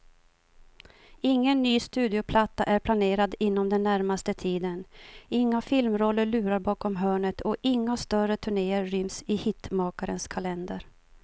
Ingen ny studioplatta är planerad inom den närmaste tiden, inga filmroller lurar bakom hörnet och inga större turnéer ryms i hitmakarens kalender.